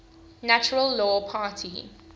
natural law party